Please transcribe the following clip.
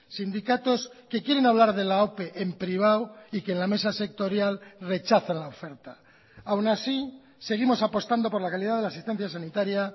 sindicatos que quieren hablar de la ope en privado y que en la mesa sectorial rechazan la oferta aún así seguimos apostando por la calidad de la asistencia sanitaria